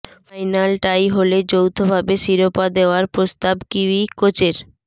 final tie হলে যৌথভাবে শিরোপা দেওয়ার প্রস্তাব কিউই কোচের